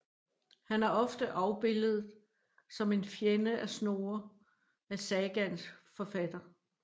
Han er ofte afbildet som en fjende af Snorre af sagaens forfatter